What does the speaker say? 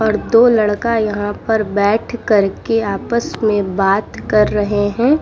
और दो लड़का यहाँ पर बैठ करके आपस मे बात कर रहे हैं।